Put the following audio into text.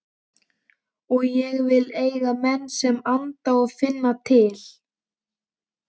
Og ég vil eiga menn sem anda og finna til.